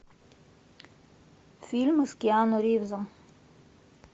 фильмы с киану ривзом